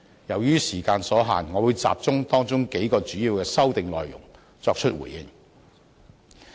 由於時間所限，我會集中回應當中數項主要的修訂內容。